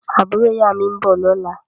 Àbúrò ìyá mi ń bọ̀ lọ́la